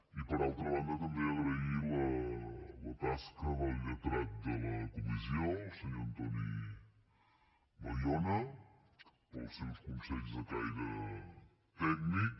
i per altra banda també agrair la tasca del lletrat de la comissió el senyor antoni bayona pels seus consells de caire tècnic